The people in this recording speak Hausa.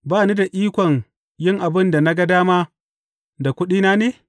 Ba ni da ikon yin abin da na ga dama da kuɗina ne?